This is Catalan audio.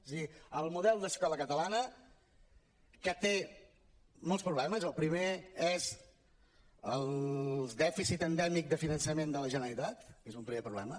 és a dir el model d’escola catalana que té molts problemes el primer és el dèficit endèmic de finançament de la generalitat que és un primer problema